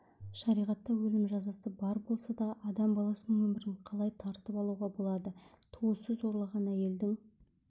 шариғатта өлім жазасы бар болса да адам баласының өмірін қалай тартып алуға болады туысы зорлаған әйелдің